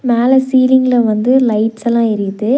மேல சீலிங்ல வந்து லைட்ஸெல்லா எரிது.